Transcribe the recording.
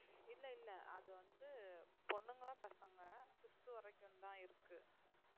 இல்ல இல்ல அது வந்து பொண்ணுங்க பசங்க fifth வரைக்கும்தான் இருக்கு